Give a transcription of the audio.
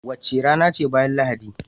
Wace rana ce bayan Lahadi?